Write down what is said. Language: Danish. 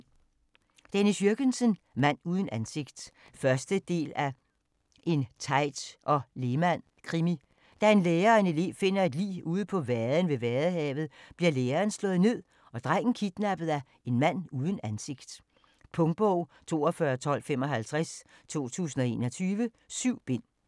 Jürgensen, Dennis: Mand uden ansigt 1. del af En Teit & Lehmann-krimi. Da en lærer og en elev finder et lig ude på vaden ved Vadehavet, bliver læreren slået ned og drengen kidnappet af en mand uden ansigt. Punktbog 421255 2021. 7 bind.